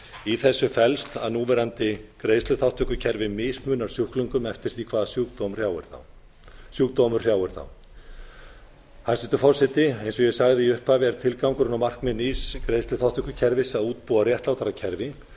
í þessu felst að núverandi greiðsluþátttökukerfi mismunar sjúklingum eftir því hvaða sjúkdómur hrjáir þá hæstvirtur forseti eins og ég sagði í upphafi er tilgangurinn og markmið nýs greiðsluþátttökukerfis að útbúa réttlátara kerfi